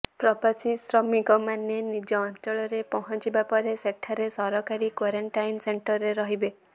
ପ୍ରବାସୀ ଶ୍ରମିକମାନେ ନିଜ ଅଞ୍ଚଳରେ ପହଞ୍ଚିବା ପରେ ସେଠାରେ ସରକାରୀ କ୍ବାରେଣ୍ଟାଇନ୍ ସେଣ୍ଟରରେ ରହିବେ